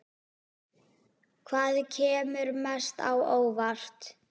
Hvað kemur mest á óvart?